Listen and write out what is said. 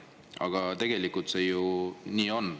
Aga tegelikult see ju nii on.